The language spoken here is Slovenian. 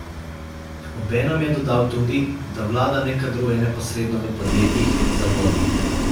Obenem je dodal tudi, da vlada ne kadruje neposredno v podjetjih in zavodih.